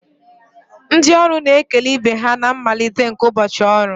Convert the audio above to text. Ndị ọrụ na-ekele ibe ha na mmalite nke ụbọchị ọrụ